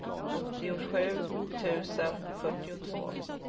åttiosju tusen fyrtiotvå